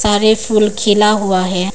सारे फूल खिला हुआ है।